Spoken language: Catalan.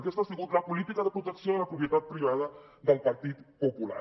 aquesta ha sigut la política de protecció de la propietat privada del partit popular